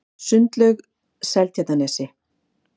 Sundlaug Seltjarnarnesi